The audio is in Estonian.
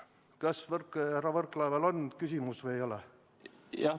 Kas härra Võrklaeval on küsimus või ei ole?